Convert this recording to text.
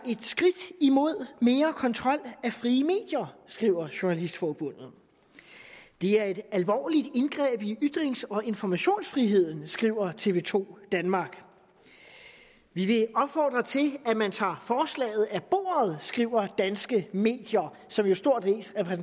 skridt imod mere kontrol af frie medier skriver dansk journalistforbund det er et alvorligt indgreb i ytrings og informationsfriheden skriver tv to danmark vi vil opfordre til at man tager forslaget af bordet skriver danske medier som jo stort